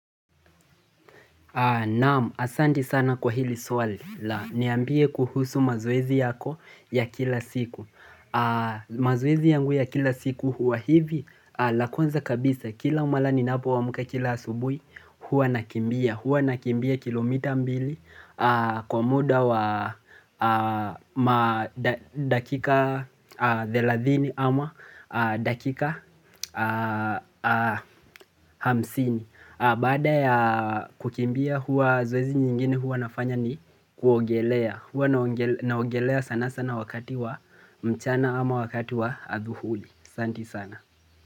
Naam, asanti sana kwa hili swali la niambie kuhusu mazoezi yako ya kila siku. Maoezi yangu ya kila siku huwa hivi la kownza kabisa kila mala ninapoamka kila asubuhi huwa nakimbia. Huwa nakimbia kilomita mbili kwa muda wa dakika thelahini ama dakika hamsini. Baada ya kukimbia huwa zoezi nyingine huwa nafanya ni kuogelea Huwa naogelea sana sana wakati wa mchana ama wakati wa adhuhuli Santi sana.